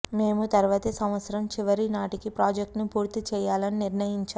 మేము తరువాతి సంవత్సరం చివరి నాటికి ప్రాజెక్ట్ను పూర్తి చేయాలని నిర్ణయించాము